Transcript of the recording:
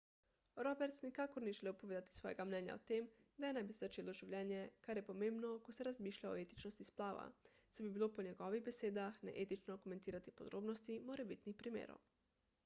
roberts nikakor ni želel povedati svojega mnenja o tem kdaj naj bi se začelo življenje kar je pomembno ko se razmišlja o etičnosti splava saj bi bilo po njegovih besedah neetično komentirati podrobnosti morebitnih primerov